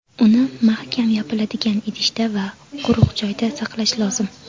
Uni mahkam yopiladigan idishda va quruq joyda saqlash lozim.